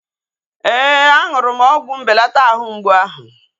Ee, aṅụrụ m ọgwụ mbelata àhú mgbụ áhụ̀